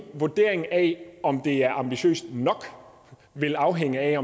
vurdering af om det er ambitiøst nok vil afhænge af